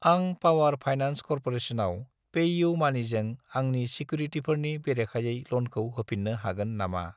आं पावार फाइनान्स कर्प'रेसनाव पेइउमानिजों आंनि सिकिउरिटिफोरनि बेरेखायै ल'नखौ होफिन्नो हागोन नामा?